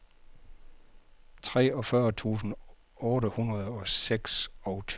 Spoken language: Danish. treogfyrre tusind otte hundrede og seksogtyve